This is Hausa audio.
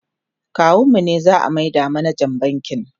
kawun mu ne za'a maida manajan bankin